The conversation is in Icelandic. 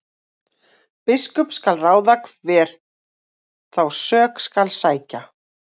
Biskup skal ráða hver þá sök skal sækja.